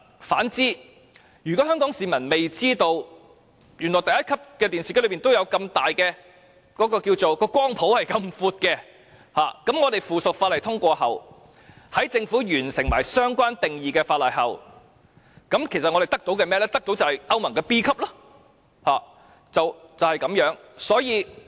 相反，如果香港市民不知道屬能源效益第一級的電視機的涵蓋範圍原來這麼闊，那麼在通過有關的附屬法例及政府完成相關定義的立法工作後，其實我們只會獲得屬歐盟能源效益 B 級的電視機。